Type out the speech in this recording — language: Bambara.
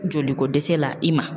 Jolikodɛsɛ la i ma